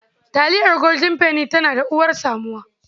Taliyar Golden Penny tana uwar samuwa.